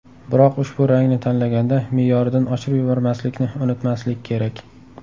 Biroq ushbu rangni tanlaganda me’yoridan oshirib yubormaslikni unutmaslik kerak.